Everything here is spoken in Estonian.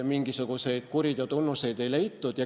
Mingisuguseid kuriteotunnuseid ei leitud.